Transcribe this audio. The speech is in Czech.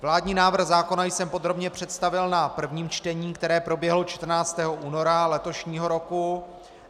Vládní návrh zákona jsem podrobně představil na prvním čtení, které proběhlo 14. února letošního roku.